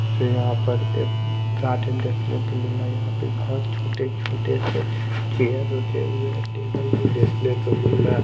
मुझे यहाँ पर एक गार्डन देखनो को मिल रहा यहाँ पे बहोत छोटे छोटे से चेयर रखे हुए हैं टेबल भीं देखनो को मिल रहा है।